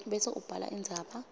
bese ubhala indzaba